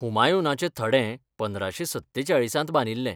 हुमायूनाचे थडें पंदराशे सत्तेचाळीसांत बांदिल्लें.